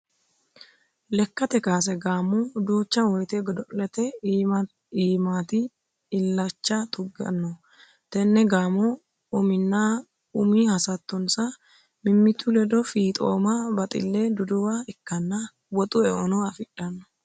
Lekkate kaase gaamo duucha woyte godo'lete iimati illacha tuganohu tene gaamohu uminna umi hasattonsa mimitu ledo fiixomma baxile duduwa ikkanna woxu eono affidhano.